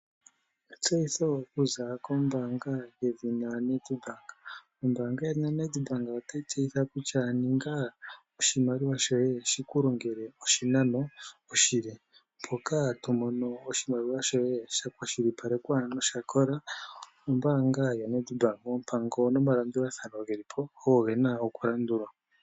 Etseyitho okuza kombanga yaNedbank. Ombaya yedhina Nedbank otayi tseyitha kutya ninga oshimaliwa shoye shikulongele oshinano oshile mpoka tomono oshimaliwa shoye shakwashilipalekwa nosha kola ombaanga yoNedbank oompango nomalandulathano gelipo ogo gena okulandulwa.